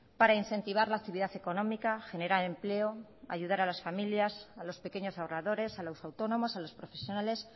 para incentivar la actividad económica generar empleo ayudar a las familias a los pequeños ahorradores a los autónomos a los profesionales